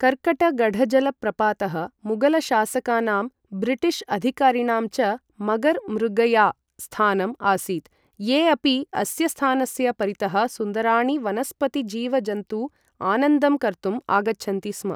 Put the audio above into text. कर्कटगढजलप्रपातः मुगलशासकानां, ब्रिटिश अधिकारिणां च मगर मृगया स्थानम् आसीत् ये अपि अस्य स्थानस्य परितः सुन्दराणि वनस्पति जीव जन्तु आनन्दं कर्तुं आगच्छन्ति स्म ।